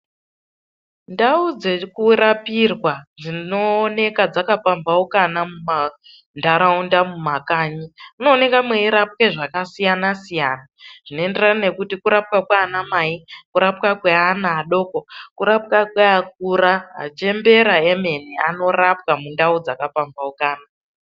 Ndau dzekurapirwa dzinooneka dzakapambhaukana mumantaraunda, mumakanyi munooneka meirapwe zvakasiyana siyana. Zvinoenderana nekuti kurapwa kwaana mai, kurapwa kweana adoko, kurapwa kweakura. Achembera emene anorapwa mundau dzakapambhaukana.